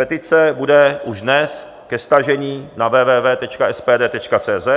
Petice bude už dnes ke stažení na www.spd.cz,